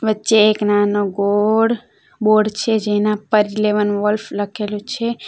વચ્ચે એક નાનો ગોળ બોર્ડ છે જેના પર ઈલેવન વોલ્ફ લખેલું છે.